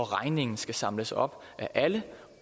regningen skal samles op af alle